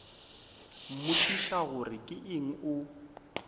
mmotšiša gore ke eng o